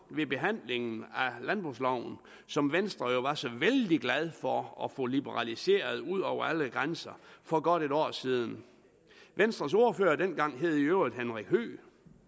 ved behandlingen af landbrugsloven som venstre jo var så vældig glad for at få liberaliseret ud over alle grænser for godt et år siden venstres ordfører dengang hed i øvrigt henrik høegh